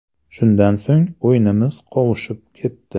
Shundan so‘ng o‘yinimiz qovushib ketdi.